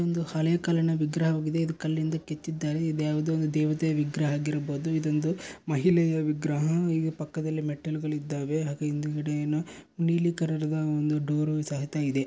ಇದು ಒಂದು ಹಳೆ ಕಾಲಿನ ವಿಗ್ರಹ ವಾಗಿದೆ ಇದು ಕಲ್ಲಿಂದ ಕೆತ್ತಿದ್ದಾರೆ ಇದು ಯಾವುದೋ ಒಂದು ದೇವತೆ ವಿಗ್ರಹಹಾಗಿರಬಹುದು ಇದೊಂದು ಮಹಿಳೆಯ ವಿಗ್ರಹ ಇಲ್ಲಿ ಪಕ್ಕದಲ್ಲಿ ಮೆಟ್ಟಿಲುಗಳು ಇದ್ದಾವೆ ಹಾಗೆ ಹಿಂದುಗಡೆ ಏನೋ ನೀಲಿ ತರಹದ ಒಂದು ಡೋರು ಸಹಿತ ಇದೆ.